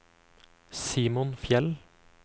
Simon Fjeld